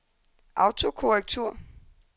autokorrektur